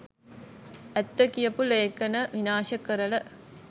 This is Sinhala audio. ඇත්ත කියපු ලේඛණ විනාශ කරල